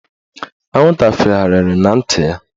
Anwụnta fegharịrị na ntị ya